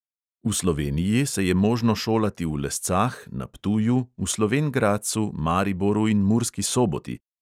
V sloveniji se je možno šolati v lescah, na ptuju, v slovenj gradcu, mariboru in murski soboti.